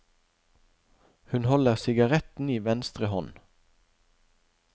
Hun holder sigaretten i venstre hånd.